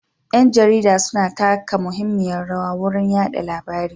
Ƴan jarida suna taka muhimmiyar rawa wurin yada labari.